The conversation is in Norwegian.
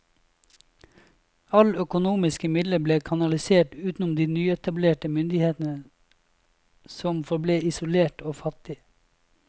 All økonomiske midler ble kanalisert utenom de nyetablerte myndighetene som forble isolerte og fattige.